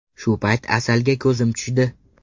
Shu payt Asalga ko‘zim tushdi.